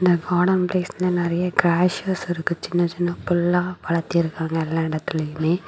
இந்த கார்டன் பிளேஸ்ல நெறைய கிரஷாஸ் இருக்கு சின்ன சின்ன புல்லா வளர்த்திருக்காங்க எல்லா இடத்திலுமே.